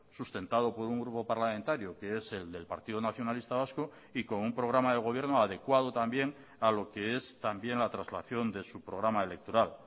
sustentado por un grupo parlamentario que es el del partido nacionalista vasco y con un programa de gobierno adecuado también a lo que es también la traslación de su programa electoral